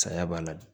Saya b'a la dun